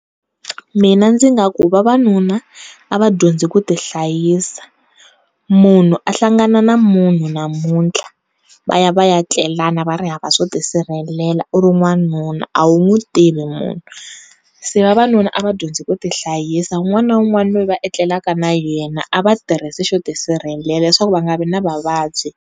Mina ndzi nga ku vavanuna a va dyondzi ku ti hlayisa munhu a hlangana na munhu namuntlha va ya va ya tlelana va ri hava swo tisirhelela u ri n'wanuna a wu n'wi tivi munhu, se vavanuna a va dyondzi ku tihlayisa wun'wana na wun'wana loyi va etlelaka na yena a va tirhisi xo tisirhelela leswaku va nga vi na vuvabyi.